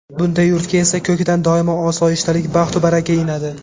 Bunday yurtga esa ko‘kdan doimo osoyishtalik, baxtu baraka inadi.